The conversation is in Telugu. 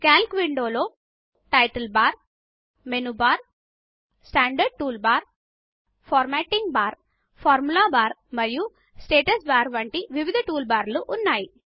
కల్క్ window title bar menu bar standard toolbar formatting bar సూత్రం బార్ మరియు స్టేటస్బార్ వంటి వివిధ టూల్బార్ల ఉన్నాయి